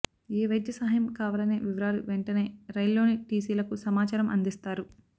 ఏ వైద్య సహాయం కావాలనే వివరాలు వెంటనే రైళ్లోని టీసీలకు సమాచారం అందిస్తారు